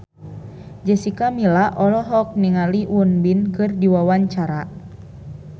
Jessica Milla olohok ningali Won Bin keur diwawancara